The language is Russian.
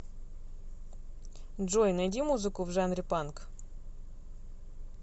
джой найди музыку в жанре панк